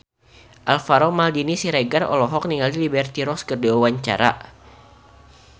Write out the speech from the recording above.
Alvaro Maldini Siregar olohok ningali Liberty Ross keur diwawancara